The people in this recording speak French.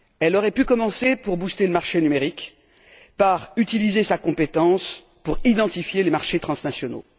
Elle aurait pu commencer, pour booster le marché numérique, par utiliser sa compétence pour identifier les marchés transnationaux.